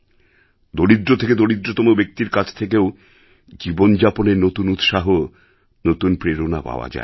দরিদ্র থেকে দরিদ্রতম ব্যক্তির কাছ থেকেও জীবনযাপনের নতুন উৎসাহ নতুন প্রেরণা পাওয়া যায়